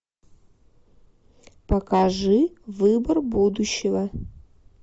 покажи выбор будущего